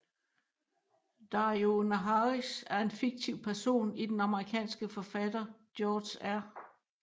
Daario Naharis er en fiktiv person i den amerikanske forfatter George R